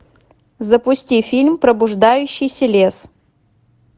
запусти фильм пробуждающийся лес